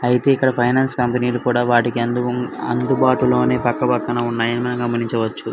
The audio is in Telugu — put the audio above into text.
ఐతే ఇక్కడ ఫైనాన్స్ కంపెనీ కూడా వాటికి అందుబాటులో నే పక్క పక్కనే ఉన్నాయి అని గమనించవచ్చు.